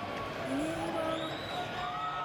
Inye ibo ngo?